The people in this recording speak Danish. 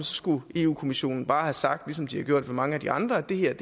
skulle europa kommissionen bare have sagt ligesom de har gjort mange af de andre at det her er